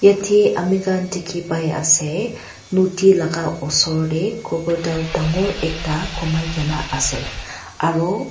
ete ami khan dikhi pai ase nodi laga osor te crocodile dangor ekta gumai kena ase aro.